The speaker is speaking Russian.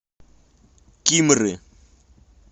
кимры